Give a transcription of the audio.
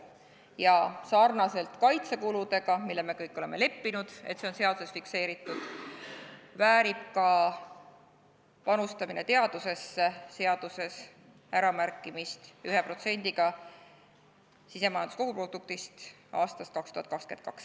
Ja sarnaselt kaitsekuludega, millega me kõik oleme leppinud, et see on seaduses fikseeritud, väärib ka teadusesse panustamine seaduses äramärkimist 1%-ga sisemajanduse koguproduktist aastast 2022.